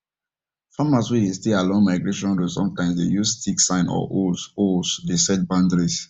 farmers wen dey stay along migration road sometimes dey use sticks signs or holes holes dey set boundaries